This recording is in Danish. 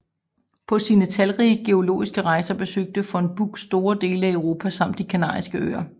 Paå sine talrige geologiske rejser besøgte von Buch store dele af Europa samt de kanariske Øer